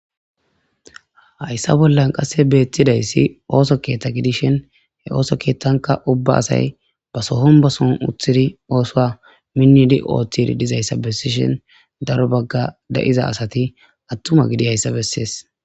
Hayssa bollan qasse beettidayssi ooso keeththa gidishin he ooso keeththanka ubba asay ba sohon ba soon uthidi oosoa minnidi ooththiri dizayssa bessishin daro bagga da'iza asati attuma gidi hayssa bessees.